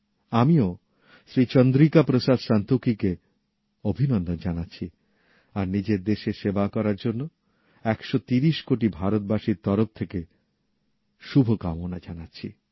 আমিও শ্রী চন্দ্রিকা প্রসাদ সন্তোখী কে অভিনন্দন জানাচ্ছি আর নিজের দেশের সেবা করার জন্য ১৩০ কোটি ভারতবাসীর তরফ থেকে শুভকামনা জানাচ্ছি